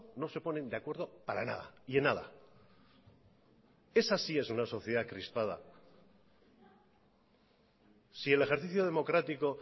no se ponen de acuerdo para nada y en nada esa sí es una sociedad crispada si el ejercicio democrático